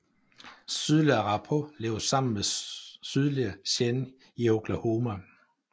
Sydlige arapaho lever sammen med sydlige cheyenne i Oklahoma